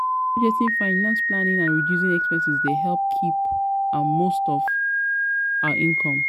Budgeting, financial planning and reducing expenses dey help keep um most um of our income. um